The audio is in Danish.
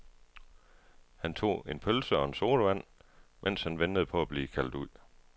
Han tog en pølse og en sodavand, mens han ventede på at blive kaldt ud.